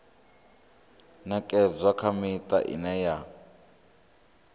ṅekedzwa kha miṱa ine ya